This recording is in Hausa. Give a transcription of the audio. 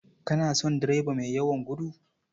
Kana son direba mai yawan gudu?